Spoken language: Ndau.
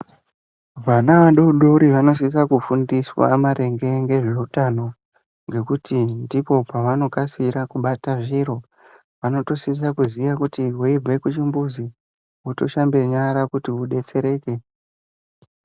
Vana vadodori vanosisa kufundiswa maringe ngezveutano, ngekuti ndipo pavanokasira kubata zviro, vanotosisa kuziya kuti weyibva kuchimbuzi, wotoshambe nyara kuti udetsereke.